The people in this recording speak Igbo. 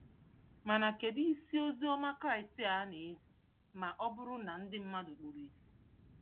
Mana kedụ isi Oziọma Kraịst a na ezi ma ọ bụrụ na ndị mmadụ kpuru ìsì?